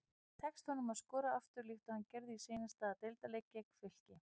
Tekst honum að skora aftur líkt og hann gerði í seinasta deildarleik gegn Fylki?